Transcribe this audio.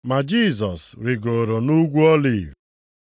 Ma Jisọs rigooro nʼUgwu Oliv.